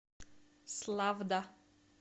славда